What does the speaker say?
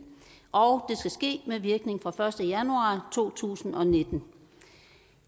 og skal ske med virkning fra første januar to tusind og nitten